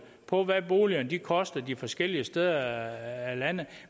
på hvad boligerne koster i de forskellige steder af landet